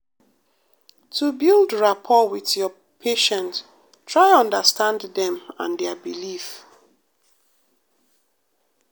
to build rapport wit your patient try understand dem and dia belief.